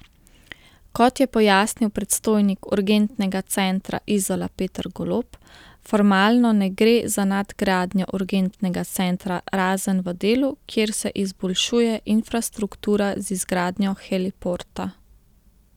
Kot je pojasnil predstojnik Urgentnega centra Izola Peter Golob, formalno ne gre za nadgradnjo urgentnega centra razen v delu, kjer se izboljšuje infrastruktura z izgradnjo heliporta.